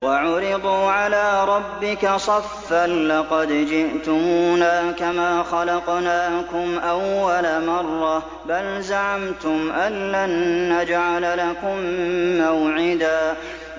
وَعُرِضُوا عَلَىٰ رَبِّكَ صَفًّا لَّقَدْ جِئْتُمُونَا كَمَا خَلَقْنَاكُمْ أَوَّلَ مَرَّةٍ ۚ بَلْ زَعَمْتُمْ أَلَّن نَّجْعَلَ لَكُم مَّوْعِدًا